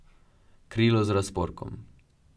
Krilo z razporkom.